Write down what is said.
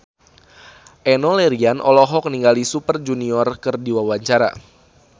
Enno Lerian olohok ningali Super Junior keur diwawancara